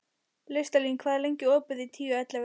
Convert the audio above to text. Listalín, hvað er lengi opið í Tíu ellefu?